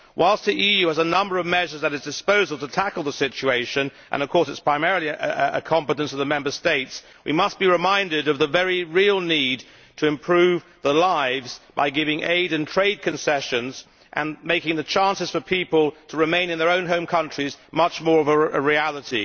Whilst the EU has a number of measures at its disposal to tackle the situation and of course this is primarily a competence of the Member States we must be reminded of the very real need to improve lives by giving aid and trade concessions and making the chance for people to remain in their own home countries much more of a reality.